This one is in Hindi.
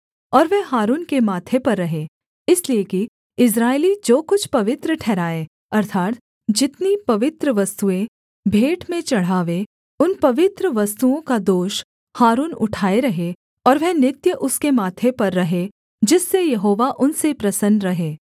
और वह हारून के माथे पर रहे इसलिए कि इस्राएली जो कुछ पवित्र ठहराएँ अर्थात् जितनी पवित्र वस्तुएँ भेंट में चढ़ावे उन पवित्र वस्तुओं का दोष हारून उठाए रहे और वह नित्य उसके माथे पर रहे जिससे यहोवा उनसे प्रसन्न रहे